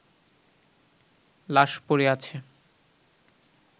লাশ পড়ে আছে